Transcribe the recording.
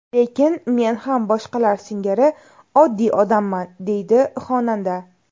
Lekin men ham boshqalar singari oddiy odamman”, deydi xonanda.